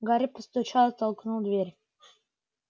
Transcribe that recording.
гарри постучал и толкнул дверь